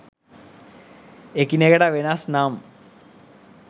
එකිනෙකට වෙනස් නම්